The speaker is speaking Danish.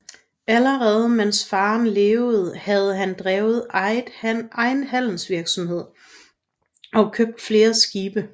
Allerede mens faren levede havde han drevet egen handelsvirksomhed og købt flere skibe